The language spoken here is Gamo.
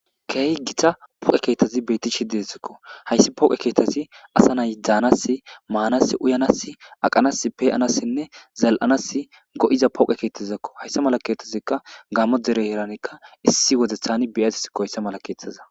Keehi gita poqe keettazi beetti shi deezikko hayssi poqe keettazi asa nayiddanas maanas uyanas aqanas peeanassinne zal'anas go'iza pooqe keethtazakko hayssa mala keetazikka gammo dere heeranekka issi wodethani biyates koyssa mala keethtaza.